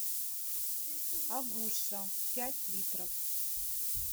агуша пять литров